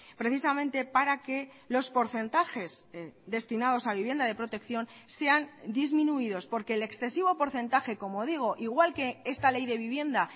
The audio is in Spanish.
precisamente para que los porcentajes destinados a vivienda de protección sean disminuidos porque el excesivo porcentaje como digo igual que esta ley de vivienda